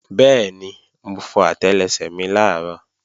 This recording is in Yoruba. Bẹ́ẹ̀ni, mo fọ àtẹlẹsẹ̀ mi làárọ̀